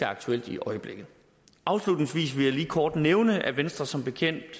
aktuelt i øjeblikket afslutningsvis vil jeg lige kort nævne at venstre som bekendt